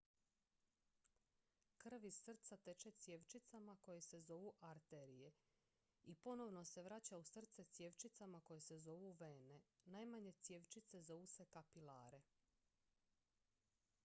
krv iz srca teče cjevčicama koje se zovu arterije i ponovno se vraća u srce cjevčicama koje se zovu vene najmanje cjevčice zovu se kapilare